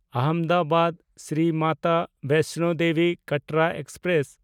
ᱟᱦᱚᱢᱫᱟᱵᱟᱫ–ᱥᱨᱤ Mata ᱵᱮᱭᱥᱱᱚ Devi Katra express